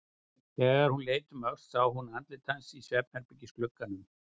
Þegar hún leit um öxl sá hún andlit hans í svefnherbergisglugganum.